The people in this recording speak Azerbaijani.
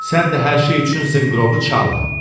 Sən də hər şey üçün zınqırovu çalma.